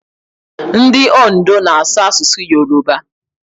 Ndị Ondo na-asụ asụsụ Yoroba.